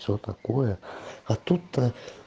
что такое а тут